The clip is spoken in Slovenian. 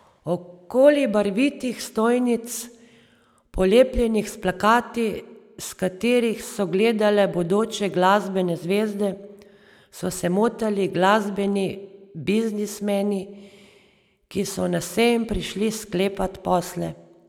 Okoli barvitih stojnic, polepljenih s plakati, s katerih so gledale bodoče glasbene zvezde, so se motali glasbeni biznismani, ki so na sejem prišli sklepat posle.